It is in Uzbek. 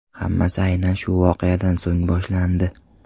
Hammasi aynan shu voqeadan so‘ng boshlandi.